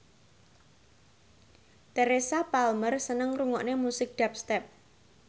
Teresa Palmer seneng ngrungokne musik dubstep